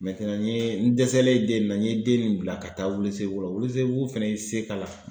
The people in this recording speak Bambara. n ye n dɛsɛlen den nin na n ye den nin bila ka taa Welesebugu la Welesebugu fana y'i se k'a la.